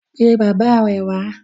Pe bàbá rẹ wá.